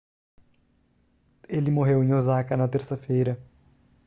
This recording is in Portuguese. ele morreu em osaka na terça-feira